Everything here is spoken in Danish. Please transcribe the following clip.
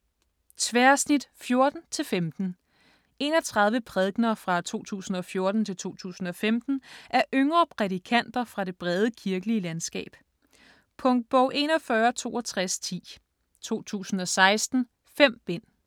Tværsnit '14 -'15 31 prædikener fra 2014-2015 af yngre prædikanter fra det brede kirkelige landskab. Punktbog 416210 2016. 5 bind.